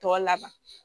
Tɔ laban